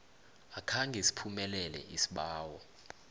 akhange siphumelele isibawo